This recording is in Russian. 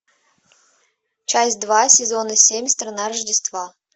часть два сезона семь страна рождества